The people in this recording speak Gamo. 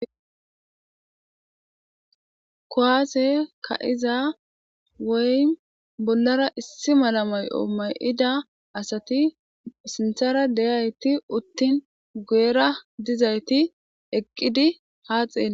Kuwasse ka'iiza woyim bollara issi malla ma'yo ma'idda assatti siinththarra de'iyatti uttin guyerra dizaytti eqidi ha xelletees